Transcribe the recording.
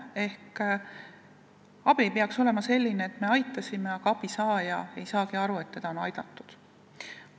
Ehk abi ei peaks olema selline, et me aitasime, aga abi saaja ei saagi aru, et teda on aidatud.